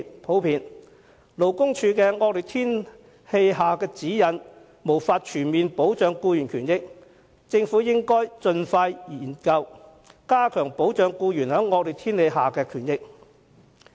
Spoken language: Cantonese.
由於勞工處的惡劣天氣指引不能全面保障僱員權益，政府應盡快研究，加強保障僱員在惡劣天氣下工作應有的權益。